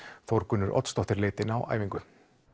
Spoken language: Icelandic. Þórgunnur Oddsdóttir leit inn á æfingu